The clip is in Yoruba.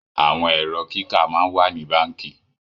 àwọn Ẹ̀rọ kíkà món wá ní bánkì.